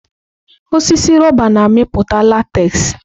Osisi rọba na-amịpụta látez.